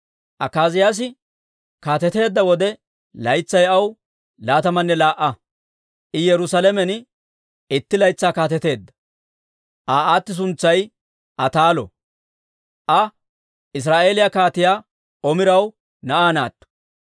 Akaaziyaasi kaateteedda wode, laytsay aw laatamanne laa"a; I Yerusaalamen itti laytsaa kaateteedda. Aa aati suntsay Ataalo; Aa Israa'eeliyaa Kaatiyaa Omiraw na'aa naatto.